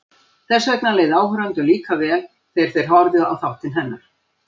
Þess vegna leið áhorfendum líka vel þegar þeir horfðu á þáttinn hennar.